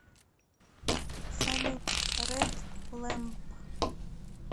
салют ред лэмп